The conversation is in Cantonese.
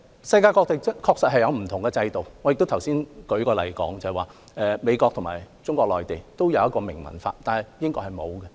世界各地確實有不同制度，我剛才已指出，美國和中國內地都有一項明文法，但是英國卻沒有。